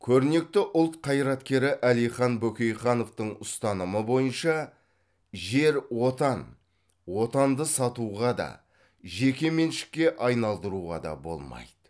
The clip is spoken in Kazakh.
көрнекті ұлт қайраткері әлихан бөкейхановтың ұстанымы бойынша жер отан отанды сатуға да жекеменшікке айналдыруға да болмайды